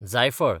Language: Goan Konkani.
जायफळ